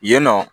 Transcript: Yen nɔ